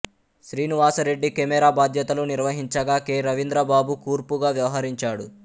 Srinivasa Reddy camera బాధ్యతలు నిర్వహించగా K Ravindrababu కూర్పుగా వ్యవహరించాడు